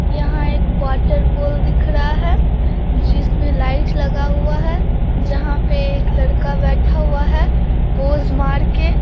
यहाँ एक water pole दिख रहा है जिसमे लाइट लगा हुआ है जहां पे एक लड़का बैठा हुआ है पोज मारके --